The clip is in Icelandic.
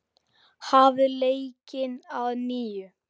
Hafið leikinn að nýju.